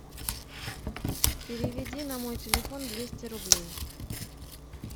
переведи на мой телефон двести рублей